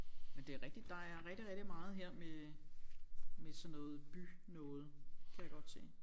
Men det er rigtigt der er rigtig rigtig meget her med med sådan noget by noget kan jeg godt se